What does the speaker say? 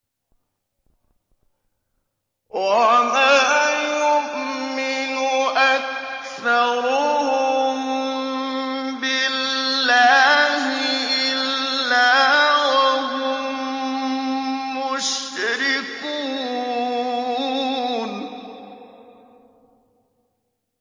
وَمَا يُؤْمِنُ أَكْثَرُهُم بِاللَّهِ إِلَّا وَهُم مُّشْرِكُونَ